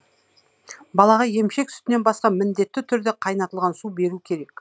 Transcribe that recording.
балаға емшек сүтінен басқа міндетті түрде қайнатылған су беру керек